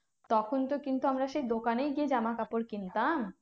তখন তো কিন্তু আমরা সেই দোকানেই গিয়ে জামাকাপড় কিনতাম?